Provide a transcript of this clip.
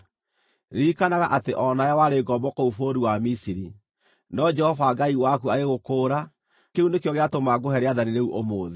Ririkanaga atĩ o na we warĩ ngombo kũu bũrũri wa Misiri, no Jehova Ngai waku agĩgũkũũra. Kĩu nĩkĩo gĩatũma ngũhe rĩathani rĩu ũmũthĩ.